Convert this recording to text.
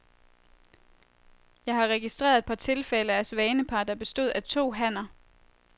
Jeg har registreret et par tilfælde af svanepar, der bestod af to hanner.